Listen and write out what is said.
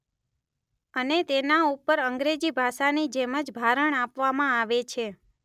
અને તેના ઉપર અંગ્રેજી ભાષાની જેમ જ ભારણ આપવામાં આવે છે.